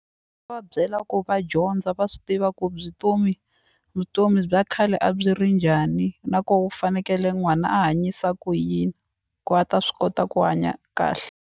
Va byela ku va dyondza va swi tiva ku vutomi bya khale a byi ri njani na koho u fanekele n'wana a hanyisa ku yini ku a ta swi kota ku hanya kahle.